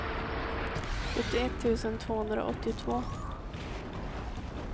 sjuttioett tusen tvåhundraåttiotvå